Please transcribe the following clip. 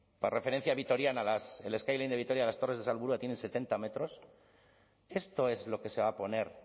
para referencia vitoriana el skyline de vitoria las torres de salburua tienen setenta metros esto es lo que se va a poner